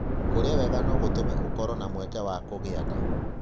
Kũrĩa wega no gũtũme ũkorũo na mweke wa kũgĩa nda.